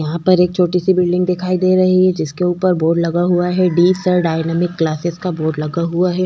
यहाँ पर एक छोटी सी बिल्डिंग दिखाई दे रही है जिसके ऊपर बोर्ड लगा हुआ है डी सर डायनेमिक क्लासेस का बोर्ड लगा हुआ है।